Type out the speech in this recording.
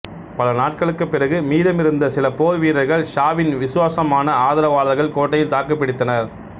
பல நாட்களுக்குப் பிறகு மீதமிருந்த சில போர்வீரர்கள் ஷாவின் விசுவாசமான ஆதரவாளர்கள் கோட்டையில் தாக்குப்பிடித்தனர்